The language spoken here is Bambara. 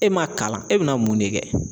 E ma kalan e bina mun ne kɛ